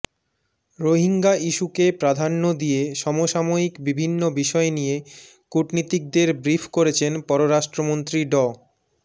রোহিঙ্গা ইস্যুকে প্রধান্য দিয়ে সমসাময়িক বিভিন্ন বিষয় নিয়ে কূটনীতিকদের ব্রিফ করেছেন পররাষ্ট্রমন্ত্রী ড